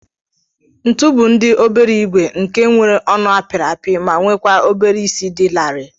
Ntu bu ndi obere igwe nke nwere ọnụ apiri api ma nwekwa obere isi di lari.